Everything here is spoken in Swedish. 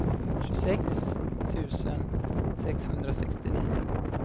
tjugosex tusen sexhundrasextionio